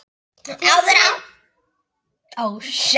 Áður átti Arnþór fjögur börn.